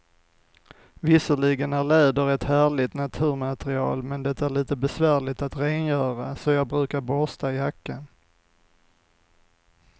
Visserligen är läder ett härligt naturmaterial, men det är lite besvärligt att rengöra, så jag brukar borsta jackan.